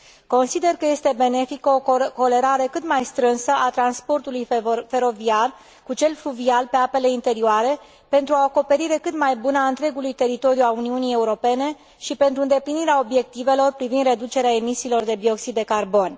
Consider că este benefică o corelare cât mai strânsă a transportului feroviar cu cel fluvial pe apele interioare, pentru o acoperire cât mai bună a întregului teritoriu al Uniunii Europene și pentru îndeplinirea obiectivelor privind reducerea emisiilor de dioxid de carbon.